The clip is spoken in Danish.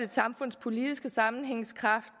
samfundspolitiske sammenhængskraft